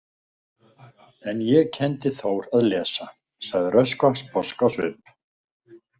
En ég kenndi Þór að lesa, sagði Röskva sposk á svip.